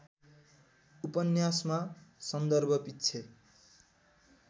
उपन्यासमा सन्दर्भपिच्छे